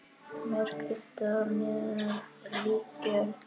Má krydda með líkjör.